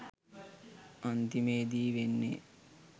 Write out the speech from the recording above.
අන්තිමේදි වෙන්නෙ